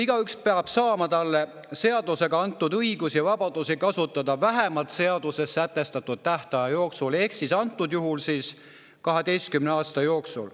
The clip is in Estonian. Igaüks peab saama talle seadusega antud õigusi ja vabadusi kasutada vähemalt seaduses sätestatud tähtaja jooksul, antud juhul 12 aasta jooksul.